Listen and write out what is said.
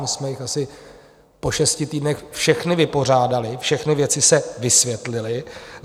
My jsme je asi po šesti týdnech všechny vypořádali, všechny věci se vysvětlily.